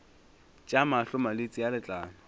tša mahlo malwetse a letlalo